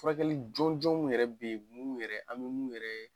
Furakɛli jɔnjɔnw yɛrɛ be yen an be mun yɛrɛ an be mun yɛrɛ